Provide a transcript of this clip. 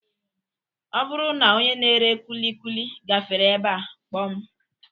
Ọ bụrụ na onye na-ere kulikuli gafere ebe a kpọọ m